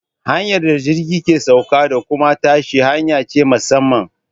Hanyar da jirgi ke sauka da kuma tashi hanya ce ta musamman.